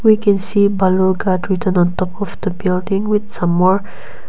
we can see balurghat written on top of the building with summe--